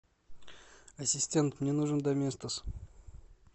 ассистент мне нужен доместос